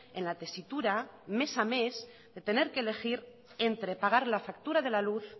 en la tesitura mes a mes de tener que elegir entre pagar la factura de la luz